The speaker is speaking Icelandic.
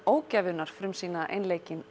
ógæfunnar frumsýna einleikinn